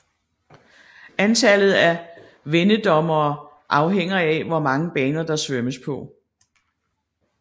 Antallet af vendedommere afhænger af hvor mange baner der svømmes på